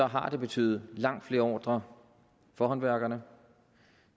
har det betydet langt flere ordrer for håndværkerne